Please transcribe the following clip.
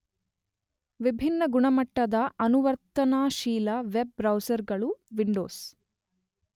ವಿಭಿನ್ನ ಗುಣಮಟ್ಟದ, ಅನುವರ್ತನಾಶೀಲ ವೆಬ್ ಬ್ರೌಸರ್ ಗಳು ವಿಂಡೋಸ್